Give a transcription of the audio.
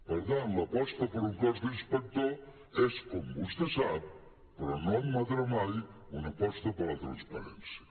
per tant l’aposta per un cos d’inspectors és com vostè sap però no admetrà mai una aposta per la transparència